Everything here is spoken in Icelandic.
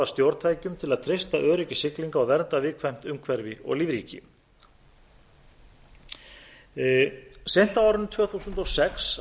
stjórntækjum til að treysta öryggi siglinga og vernda viðkvæmt umhverfi og lífríki seint á árinu tvö þúsund og sex